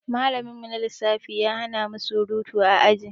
Malamin mu na lissafi ya hanamu surutu a aji